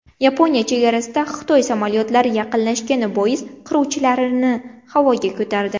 Yaponiya chegarasiga Xitoy samolyotlari yaqinlashgani bois qiruvchilarini havoga ko‘tardi.